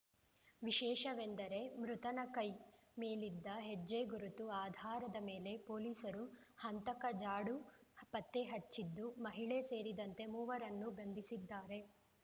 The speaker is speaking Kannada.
ವಿಶೇಷವೆಂದರೆ ಮೃತನ ಕೈ ಮೇಲಿದ್ದ ಹಚ್ಚೆ ಗುರುತು ಆಧಾರದ ಮೇಲೆ ಪೊಲೀಸರು ಹಂತಕ ಜಾಡು ಪತ್ತೆಹಚ್ಚಿದ್ದು ಮಹಿಳೆ ಸೇರಿದಂತೆ ಮೂವರನ್ನು ಬಂಧಿಸಿದ್ದಾರೆ